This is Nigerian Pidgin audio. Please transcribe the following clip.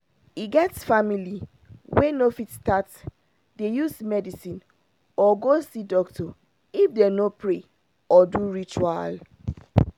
e get family wey no fit start dey use medicine or go see doctor if dem no pray or do ritual.